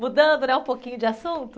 Mudando, né, um pouquinho de assunto?